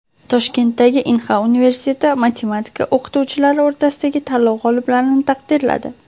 Toshkentdagi Inha universiteti matematika o‘qituvchilari o‘rtasidagi tanlov g‘oliblarini taqdirladi.